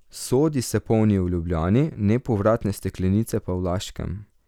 Sodi se polnijo v Ljubljani, nepovratne steklenice pa v Laškem.